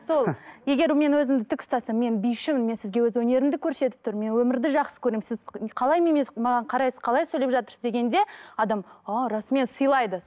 сол егер мен өзімді тік ұстасам мен бишімін мен сізге өз өнерімді көрсетіп тұрмын мен өмірді жақсы көремін сіз қалай маған қарайсыз қалай сөлеп жатырсыз дегенде адам а расымен сыйлайды